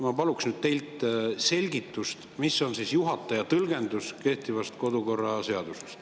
Ma palun nüüd teilt selgitust, mis on juhataja tõlgendus kehtivast kodukorraseadusest.